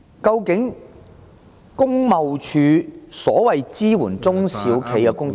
究竟工貿署所謂支援中小企的工作......